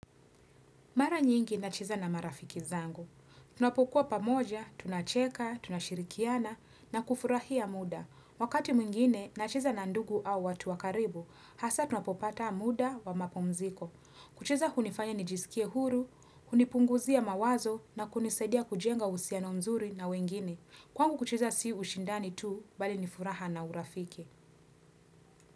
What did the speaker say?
Mara nyingi na cheza na marafiki zangu. Tunapokuwa pamoja, tunacheka, tunashirikiana, na kufurahia muda. Wakati mwingine, na cheza na ndugu au watu wakaribu, hasa tunapopata muda wa mapumziko. Kucheza hunifanya nijisikie huru, hunipunguzia mawazo, na kunisadia kujenga uhusiano mzuri na wengine. Kwangu kucheza si ushindani tu, bali nifuraha na urafiki.